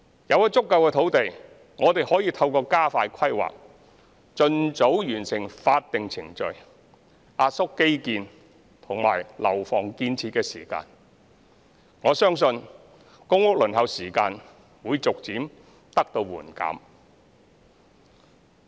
有了足夠的土地，我們可以透過加快規劃，盡早完成法定程序，壓縮基建和樓房建設時間，我相信公屋輪候時間會逐漸得到緩減。